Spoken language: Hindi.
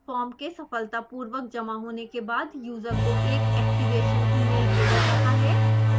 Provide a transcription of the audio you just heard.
फॉर्म के सफलतापूर्वक जमा होने के बाद यूज़र को एक एक्टिवेशन सक्रियण ईमेल भेजा जाता है